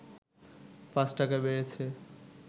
৫ টাকা বেড়েছে